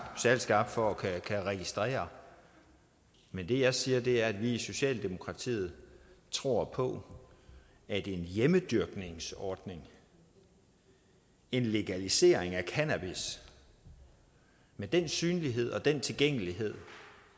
særlig skarp for at kunne registrere men det jeg siger er at vi i socialdemokratiet tror på at en hjemmedyrkningsordning en legalisering af cannabis med den synlighed og den tilgængelighed